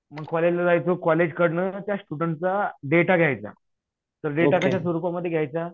मग कॉलेजला जायचो कॉलेजकडनं त्या स्टुडन्ट चा डेटा घ्यायचा. तर डेटा कशा स्वरूपामध्ये घ्यायचा?